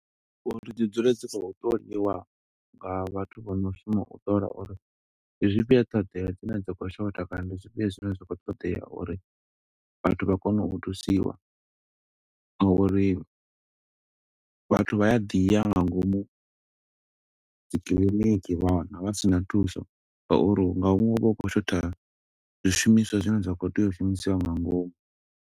Uri dzi dzule dzi khou ṱoliwa nga vhathu vho no shuma u ṱola uri ndi zwifhio ṱhoḓea dzine dza khou shotha kana ndi zwifhio zwine zwa kho ṱoḓea, uri vhathu vha kone u thusiwa. Nga uri vhathu vha ya ḓiya nga ngomu dzikiḽiniki, vha wana vha si na thuso. Nga uri nga huṅwe hu vha hu khou shotha, zwishumiswa zwine zwa khou tea u shumisiwa nga ngomu.